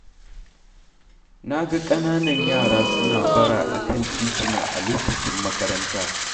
Na ga ƙananan yara suna bara a kan tituna a lokacin makaranta.